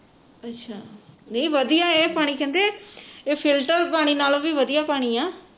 ਅਸ਼ਾ ਨਹੀਂ ਵਧੀਆ ਇਹ ਪਾਣੀ ਕਹਿੰਦੇ ਇਹ ਫਿਲਟਰ ਪਾਣੀ ਨਾਲੋਂ ਵੀ ਵਧੀਆ ਪਾਣੀ ਆ